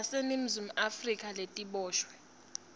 taseningizimu afrika letiboshwe